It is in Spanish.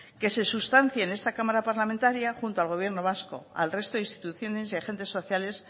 que se sustancia en esta cámara parlamentaria junto con al gobierno vasco al resto de instituciones y agentes sociales